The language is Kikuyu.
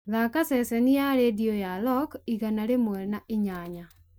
thaaka ceceni ra rĩndiũ ya rock igana rĩmwe na inyanya